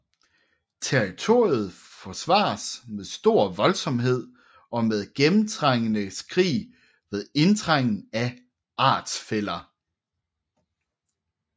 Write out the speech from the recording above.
Territoriet forsvares med stor voldsomhed og med gennemtrængende skrig ved indtrængen af artsfæller